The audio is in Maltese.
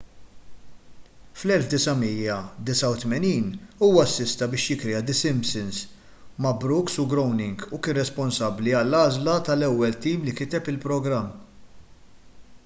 fl-1989 huwa assista biex jikkrea the simpsons ma' brooks u groening u kien responsabbli għall-għażla tal-ewwel tim li kiteb il-programm